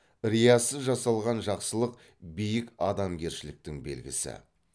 риясыз жасалған жақсылық биік адамгершіліктің белгісі